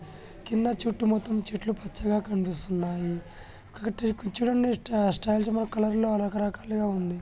కింద చెట్లు మొత్తం చెట్లు పచ్చగా కనిపిస్తున్నాయి కురిచి లో ఉన్న మొక్కలు రక రకాలుగా ఉన్నాయి